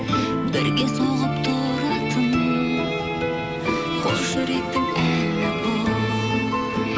бірге соғып тұратын қос жүректің әні бұл